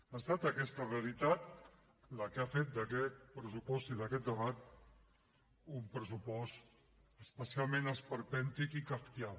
ha estat aquesta realitat la que ha fet d’aquest pressupost i d’aquest debat un pressupost especialment esperpèntic i kafkià